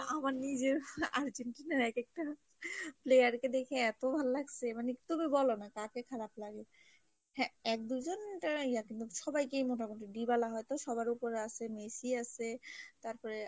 আমার নিজের আর্জেন্টিনার এক একটা player কে দেখে এতো ভাল লাগছে তুমি বলো না কাকে খারাপ লাগে, হ্যাঁ এক দুজন কিন্তু সবাইকেই মোটামুটি দিবালা হয়তো সবার ওপর আসে মেসি আসে, তারপরে